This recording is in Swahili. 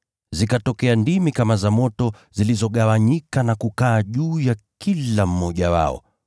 Zikatokea ndimi kama za moto zilizogawanyika na kukaa juu ya kila mmoja wao.